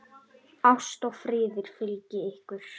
Ást og friður fylgi ykkur.